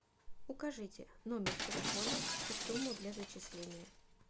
укажите номер телефона и сумму для зачисления